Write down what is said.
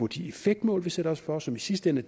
de effektmål vi satte os for som i sidste ende